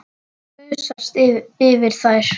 Gusast yfir þær.